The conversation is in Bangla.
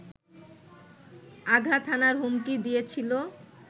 আঘাত হানার হুমকি দিয়েছিল